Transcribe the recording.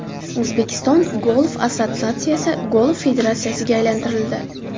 O‘zbekiston Golf assotsiatsiyasi Golf federatsiyasiga aylantirildi.